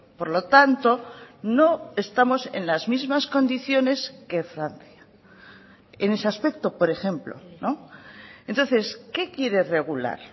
por lo tanto no estamos en las mismas condiciones que francia en ese aspecto por ejemplo entonces qué quiere regular